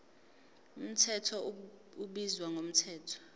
mthetho ubizwa ngomthetho